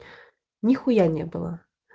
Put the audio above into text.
нихуя не было